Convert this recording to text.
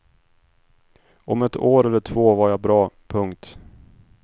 Om ett år eller två var jag bra. punkt